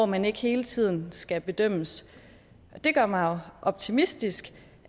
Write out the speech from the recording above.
man ikke hele tiden skal bedømmes det gør mig optimistisk